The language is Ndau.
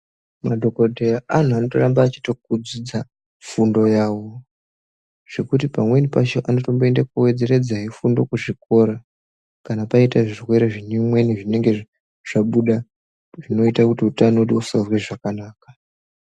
Madhokoteya antu anoramba achitobudidza fundo yawo zvekuti pamweni pacho anotomboenda kundowedzeredza fundo kuzvikora kana kwaita zvirwere zvimweni zvinenge zvabuda zvinoita kuti utano wedu usanzwe zvakanaka.